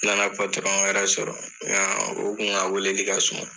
N na na wɛrɛ sɔrɔ nka o kun ka weleli kɛ so.